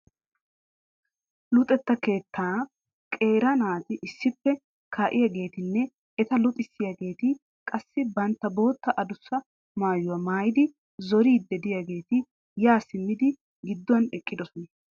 Luxetta keettan qeera naati issippe kaa'iyageetinne eta luxissiyaageeti qassi bantta bootta adussa mayuwa mayidi zoriiddi diyageeti yaa simmidi gidduwan eqqidosona.